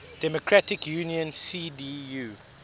democratic union cdu